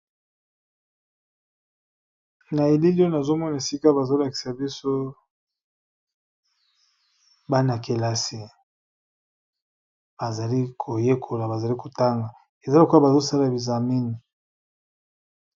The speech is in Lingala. Na elili oyo nazomona balakisi boso Bana kelasi bazo tanga eaa ondire bazo sala examen na bango